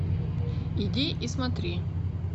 иди и смотри